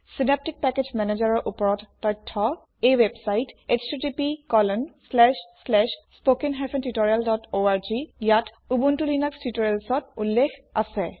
Synaptic package manager ৰ ওপৰত তথ্য এই ৱেবচাইট httpspoken tutorialorgত ইয়াত উবুনটো লিনাস টিউটৰিয়েলত উল্লেখ আছে